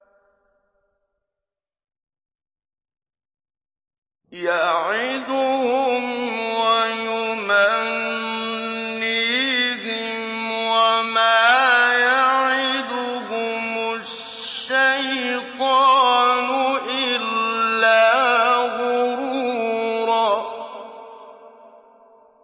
يَعِدُهُمْ وَيُمَنِّيهِمْ ۖ وَمَا يَعِدُهُمُ الشَّيْطَانُ إِلَّا غُرُورًا